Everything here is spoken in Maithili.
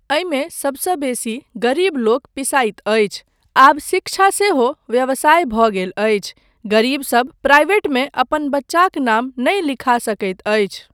एहिमे सबसँ बेसी गरीबलोकनि पिसाइत अछि, आब शिक्षा सेहो व्यवसाय भऽ गेल अछि, गरीबसब प्राइवेटमे अपन बच्चाक नाम नहि लिखा सकैत अछि।